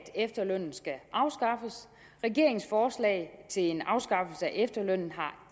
efterlønnen skal afskaffes regeringens forslag til en afskaffelse af efterlønnen har